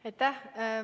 Aitäh!